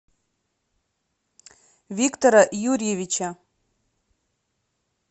виктора юрьевича